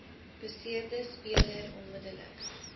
beseerde speler onmiddellik